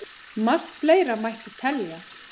Margt fleira mætti telja.